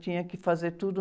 Tinha que fazer tudo...